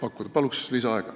Kolm minutit lisaaega.